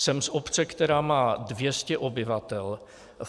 Jsem z obce, která má 200 obyvatel.